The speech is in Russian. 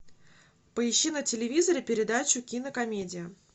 поищи на телевизоре передачу кинокомедия